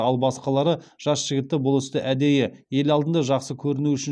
ал басқалары жас жігітті бұл істі әдейі ел алдында жақсы көріну үшін